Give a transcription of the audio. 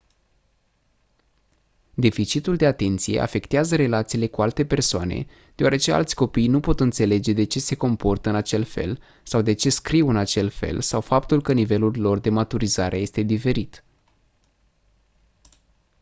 deficitul de atenție afectează relațiile cu alte persoane deoarece alți copii nu pot înțelege de ce se comportă în acel fel sau de ce scriu în acel fel sau faptul că nivelul lor de maturizare este diferit